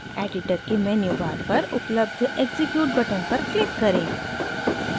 editor के menu bar पर उपलब्ध execute बटन पर क्लिक करें